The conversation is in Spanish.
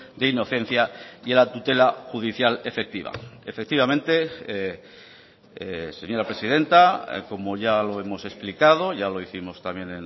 de inocencia y la tutela judicial efectiva efectivamente señora presidenta como ya lo hemos explicado ya lo hicimos también